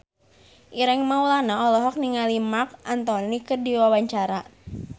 Ireng Maulana olohok ningali Marc Anthony keur diwawancara